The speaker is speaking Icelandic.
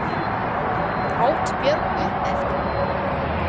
át Björg upp eftir henni.